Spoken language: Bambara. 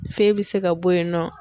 Fe bɛ se ka bɔ yen nɔ.